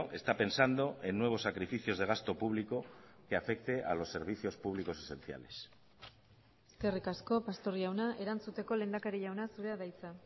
está pensando en nuevos sacrificios de gasto público que afecte a los servicios públicos esenciales eskerrik asko pastor jauna erantzuteko lehendakari jauna zurea da hitza